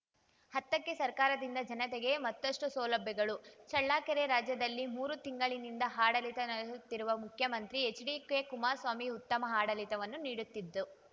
ಹತ್ತಕ್ಕೆಸರ್ಕಾರದಿಂದ ಜನತೆಗೆ ಮತ್ತಷ್ಟುಸೌಲಭ್ಯಗಳು ಚಳ್ಳಕೆರೆ ರಾಜ್ಯದಲ್ಲಿ ಮೂರು ತಿಂಗಳಿನಿಂದ ಆಡಳಿತ ನಡೆಸುತ್ತಿರುವ ಮುಖ್ಯಮಂತ್ರಿ ಎಚ್‌ಡಿಕೆ ಕುಮಾರಸ್ವಾಮಿ ಉತ್ತಮ ಆಡಳಿತವನ್ನು ನೀಡುತ್ತಿದ್ದು